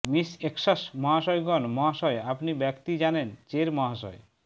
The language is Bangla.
মিস এক্সক্স মহাশয়গণ মহাশয় আপনি ব্যক্তি জানেন চের মহাশয়